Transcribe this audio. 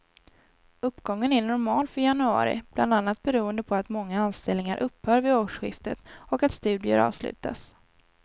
Uppgången är normal för januari, bland annat beroende på att många anställningar upphör vid årsskiftet och att studier avslutas.